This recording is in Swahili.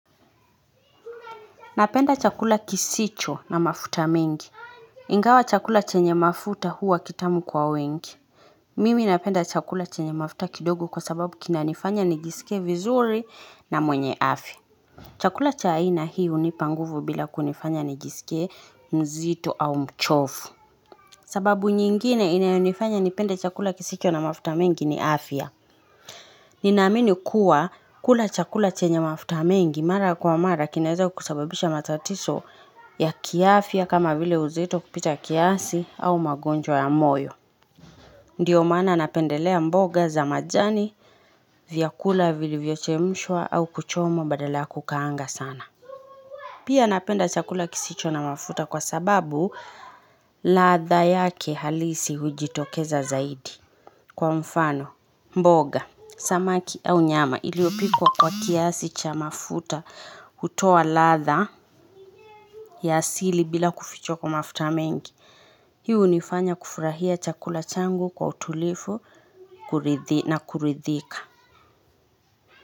Napenda chakula kisicho na mafuta mengi. Ingawa chakula chenye mafuta huwa kitamu kwa wengi. Mimi napenda chakula chenye mafuta kidogo kwa sababu kinanifanya nijisikie vizuri na mwenye afya. Chakula cha aina hii hunipa nguvu bila kunifanya nijisikie mzito au mchovu. Sababu nyingine inayonifanya nipende chakula kisicho na mafuta mengi ni afya. Ninaamini kuwa kula chakula chenye mafuta mengi mara kwa mara kinaeza kukusababisha matatizo ya kiafya kama vile uzito kupita kiasi au magonjwa ya moyo. Ndiyo maana napendelea mboga za majani, vyakula vilivyochemshwa au kuchomwa badala ya kukaanga sana. Pia napenda chakula kisicho na mafuta kwa sababu ladha yake halisi hujitokeza zaidi. Kwa mfano, mboga, samaki au nyama iliyopikwa kwa kiasi cha mafuta hutoa ladha ya asili bila kufichwa kwa mafuta mengi. Hii hunifanya kufurahia chakula changu kwa utulivu na kuridhika.